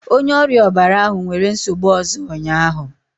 Onye ọrịa ọbara ahụ nwere nsogbu ọzọ ụnyahụ